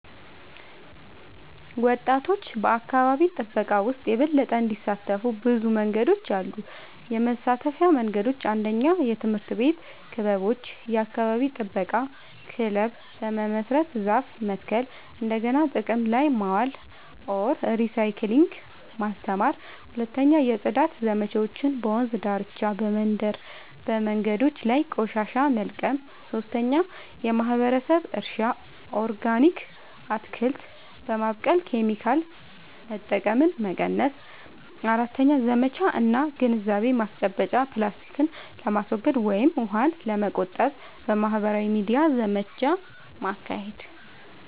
ወጣቶች በአካባቢ ጥበቃ ውስጥ የበለጠ እንዲሳተፉ ብዙ መንገዶች አሉ -የመሳተፊያ መንገዶች፦ 1. የትምህርት ቤት ክበቦች – የአካባቢ ጥበቃ ክለብ በመመስረት ዛፍ መትከል፣ እንደገና ጥቅም ላይ ማዋል (recycling) ማስተማር። 2. የጽዳት ዘመቻዎች – በወንዝ ዳርቻ፣ በመንደር መንገዶች ላይ ቆሻሻ መልቀም። 3. የማህበረሰብ እርሻ – ኦርጋኒክ አትክልት በማብቀል ኬሚካል መጠቀምን መቀነስ። 4. ዘመቻ እና ግንዛቤ ማስጨበጫ – ፕላስቲክን ለማስወገድ ወይም ውሃን ለመቆጠብ በማህበራዊ ሚዲያ ዘመቻ ማካሄድ።